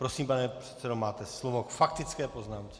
Prosím, pane předsedo, máte slovo k faktické poznámce.